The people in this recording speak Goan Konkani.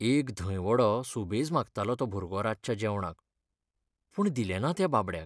एक धंय वडो सुबेज मागतालो तो भुरगो रातच्या जेवणाक, पूण दिलें ना त्या बाबड्याक.